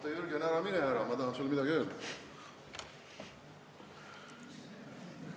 Oota, Jürgen, ära mine ära, ma tahan sulle midagi öelda!